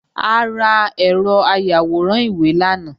A ra ẹ̀rọ ayàwòrán ìwé lánàá